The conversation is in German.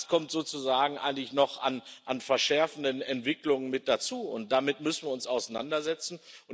kommt das sozusagen eigentlich noch an verschärfenden Entwicklungen mit dazu, und damit müssen wir uns auseinandersetzen.